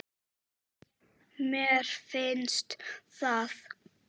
Mér finnst það.